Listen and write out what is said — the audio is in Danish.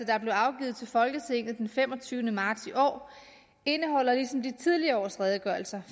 der blev afgivet til folketinget den femogtyvende marts i år indeholder ligesom de tidligere års redegørelser